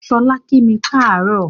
Ṣọlá ń kími káàárọ̀